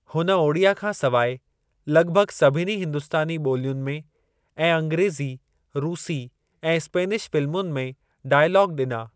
हुन ओड़िया खां सवाइ लॻिभॻि सभिनी हिंदुस्तानी ॿोलियुनि में ऐं अंग्रेज़ी रूसी ऐं स्पेनिश फ़िल्मुनि में डाइलॉग ॾिना।